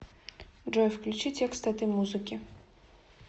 джой включи текст этой музыки